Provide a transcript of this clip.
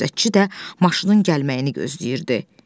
Gözətçi də maşının gəlməyini gözləyirdi.